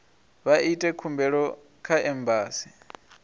vha ite khumbelo kha embasi